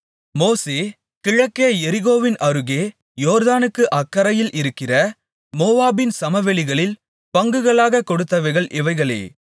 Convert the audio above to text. மோசே கிழக்கே எரிகோவின் அருகே யோர்தானுக்கு அக்கரையில் இருக்கிற மோவாபின் சமவெளிகளில் பங்குகளாகக் கொடுத்தவைகள் இவைகளே